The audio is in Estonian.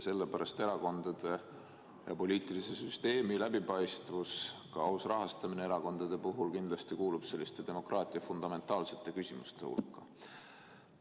Sellepärast kuulub erakondade ja kogu poliitilise süsteemi läbipaistvus, aus erakondade rahastamine kindlasti demokraatia fundamentaalsete küsimuste hulka.